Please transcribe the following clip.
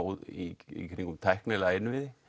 í gegnum tæknilega innviði